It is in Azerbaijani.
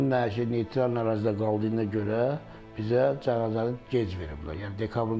Onun nəşinin neytral ərazidə qaldığına görə bizə cəsarəti gec veriblər.